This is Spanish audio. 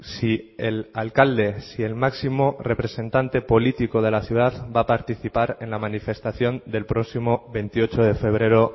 si el alcalde si el máximo representante político de la ciudad va a participar en la manifestación del próximo veintiocho de febrero